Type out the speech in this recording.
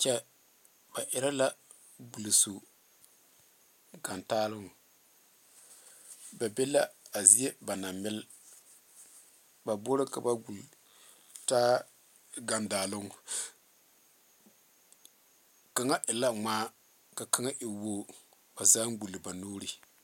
Kyɛ ba erɛ la gulesu gandaaloŋ ba be la a zeɛ na ba naŋ melepoge ba boroŋ ka ba wuli taa gandaaloŋ kaŋa e la ŋma ka kaŋa e wogi ba zaa gule ba nu.